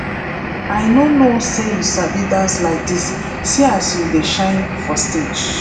i no know say you sabi dance like dis see as you dey shine for stage